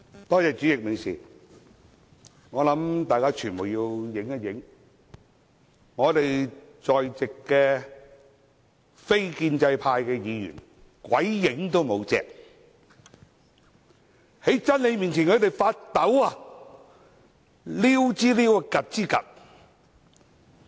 代理主席，我想傳媒拍一下現場，席上非建制派議員鬼影都沒有，他們在真理面前發抖，溜之大吉。